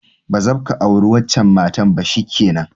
Ba zabka aure wancan matan ba, shikenan!